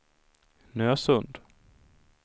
Nösund